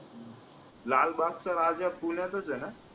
लालबागचा राजा पुण्यातच आहे ना